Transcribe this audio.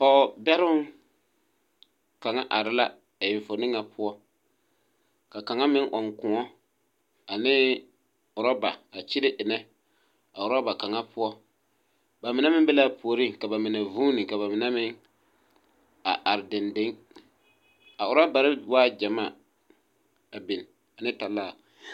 Pɔgebɛroŋ kaŋa are la e fo niŋe poɔ. Ka kaŋa meŋ ɔŋ kõɔ ane orɔba a kyene ennɛ a orɔba kaŋa poɔ. Ba mine meŋ be la a puoriŋ ka ba mine vuuni ka ba mine meŋ a are dendeŋ. A orɔbare waa gyamaa, a biŋ ane talaa.